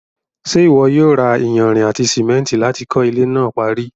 ṣé ìwọ yóò ra iyanrìn àti sìmẹ́ntì láti kọ́ ilẹ́ náà parí?